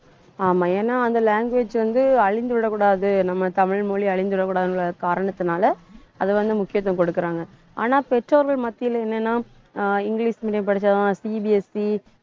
ஆமா ஏன்னா அந்த language வந்து அழிந்து விடக்கூடாது நம்ம தமிழ் மொழி அழிந்து விடக்கூடாதுங்கிற காரணத்தினால அதை வந்து முக்கியத்துவம் குடுக்கறாங்க ஆனா பெற்றோர்கள் மத்தியில என்னன்னா ஆஹ் இங்கிலிஷ் medium படிச்சாதான் CBSE